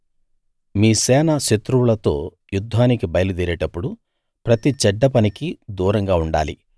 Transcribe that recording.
మీ సేన శత్రువులతో యుద్ధానికి బయలుదేరేటప్పుడు ప్రతి చెడ్డపనికీ దూరంగా ఉండాలి